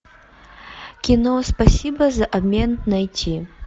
кино спасибо за обмен найти